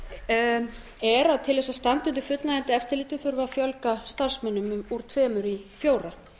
orkustofnunarinnar er að til þess að standa undir fullnægjandi eftirliti þurfi að fjölga starfsmönnum úr tveimur í fjóra